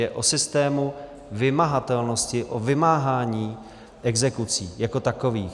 Je o systému vymahatelnosti, o vymáhání exekucí jako takových.